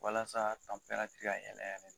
Walasa an fɛnɛ tɛ ka a yɛlɛ yɛrɛ de.